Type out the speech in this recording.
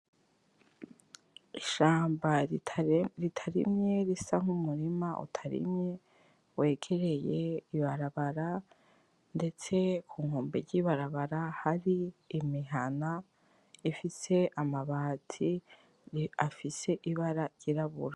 Ishamba ritarimye risa nk'umurima utarimye wegereye ibarabara ndetse kunkombe ry'ibarabara hari imihana ifise amabati afise ibara ry'irabura.